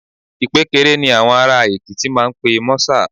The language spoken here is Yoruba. Ìpékeré ni àwọn ará Èkìtì máa ń pe mọ́sà